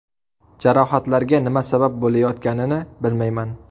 Jarohatlarga nima sabab bo‘layotganini bilmayman.